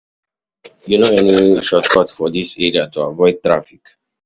You know any shortcut for dis area to avoid traffic?